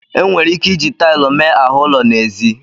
E nwere ike iji taịlụ mee ahụ ụlọ n'ezi.